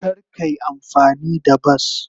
Kar ka yi amfani da bas.